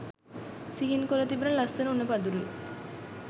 සිහින් කොළ තිබෙන ලස්සන උණ පඳුරුයි.